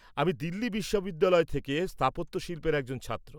আমি দিল্লি বিশ্ববিদ্যালয় থেকে স্থাপত্যশিল্পের একজন ছাত্র।